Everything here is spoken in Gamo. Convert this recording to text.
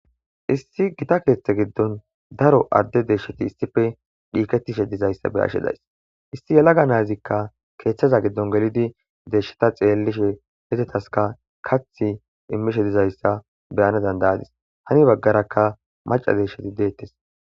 Issi gita keeththe giddon daro adde deeshsheti issife dhiiketishe dizayssa beyashedays issi yalaga nayzikka keeththaza giddon gelidi deshshata xeellishe hezetaska kath immishe dizayssa beyana dandayadis hani baggarakka maca deesheti deettes